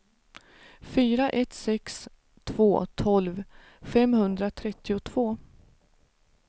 fyra ett sex två tolv femhundratrettiotvå